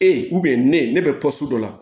E ne bɛ dɔ la